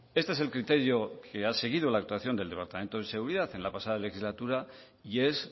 este es el criterio que ha seguido la actuación del departamento de seguridad en la pasada legislatura y es